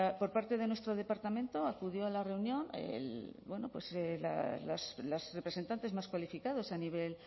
por parte de nuestro departamento acudió a la reunión los representantes más cualificados a nivel